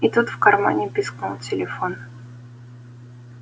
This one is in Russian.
и тут в кармане пискнул телефон